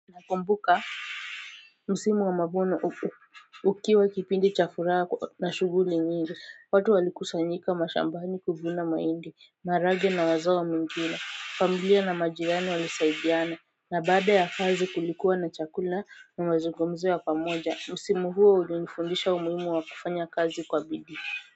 Nakumbuka msimu wa mavuno ukiwa kipindi cha furaha na shuguli nyingi watu walikusanyika mashambani kuvuna mahindi maharage na mazao mengine familia na majirani walisaidiana na baada ya kazi kulikuwa na chakula na mazungumzo ya pamoja msimu huo ulinifundisha umuhimu wa kufanya kazi kwa bidii.